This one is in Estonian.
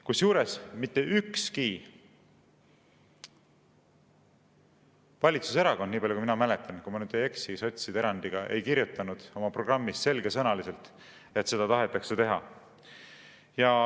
Kusjuures mitte ükski valitsuserakond, nii palju kui mina mäletan – kui ma nüüd ei eksi –, sotside erandiga ei kirjutanud oma programmis selgesõnaliselt, et seda tahetakse teha.